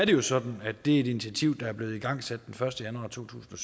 jo sådan at det er et initiativ der er blevet igangsat den første januar to tusind